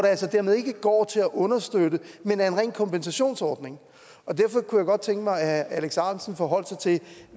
altså dermed ikke går til at understøtte men er en ren kompensationsordning og derfor kunne jeg godt tænke mig at herre alex ahrendtsen forholdt sig til